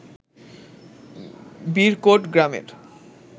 বিরকোট গ্রামের